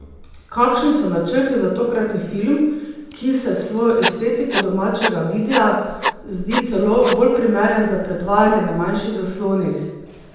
Kakšni so načrti za tokratni film, ki se s svojo estetiko domačega videa zdi celo bolj primeren za predvajanje na manjših zaslonih?